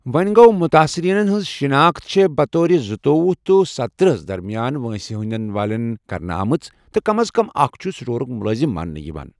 وونہ گو٘ ، مُتٲثِریٖنن ہِنٛز شِناخت چھےٚ بطور زُتۄوہُ تہٕ ستتٔرہ درمِیان وٲنٛسہِ ہنٛدین والین ہندِ کرنہٕ آمٕژ، تہٕ کم از کم اَکھ چُھ سٕٹورُک مُلٲزِم مانٛنہِ یِوان۔